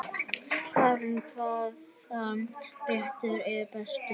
Karen: Hvaða réttur er bestur?